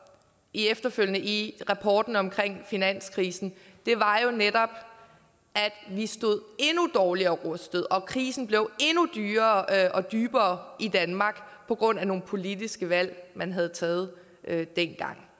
efterfølgende i rapporten om finanskrisen er jo netop at vi stod endnu dårligere rustet og krisen blev endnu dyrere og dybere i danmark på grund af nogle politiske valg man havde taget dengang